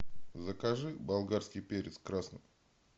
закажи болгарский перец красный